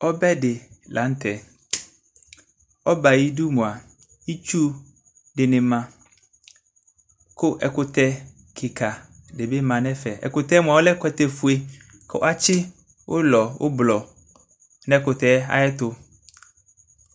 Ɔbɛ de lantɛ ɔbɛ ayidu moa itsu de ne ma ko ɛkutɛ kika de be ma nɛfɛ Ɛkutɛ moa ɔlɛ ɛkutɛfue ko atsi ull ublɔ nɛ ɛkutɛ ayeto